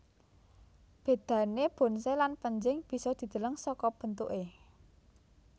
Bedané bonsai lan pénjing bisa dideleng saka bentuké